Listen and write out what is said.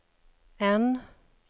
N